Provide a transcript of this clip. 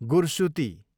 गुरसुती